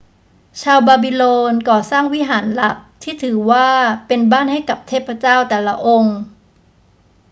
ชาวบาบิโลนก่อสร้างวิหารหลักที่ถือว่าเป็นบ้านให้กับเทพเจ้าแต่ละองค์